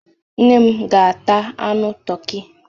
Nne m ga-ata anu toki.